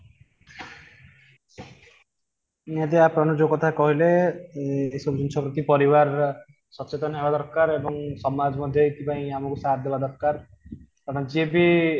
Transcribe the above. ଯଦି ଆପଣ ଆଜି ଯୋଉ କଥା କହିଲେ ଉଁ ଏ ଜିନିଷ ପ୍ରତି ପରିବାର ସଚେତନ ହେବା ଦରକାର ଏବଂ ସମାଜ ମଧ୍ୟ ଏଥିପାଇଁ ଆମକୁ ଦେବା ଦରକାର କାରଣ ଯିଏ ବି